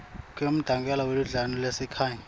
kwemmangalelwa weludlame lwasekhaya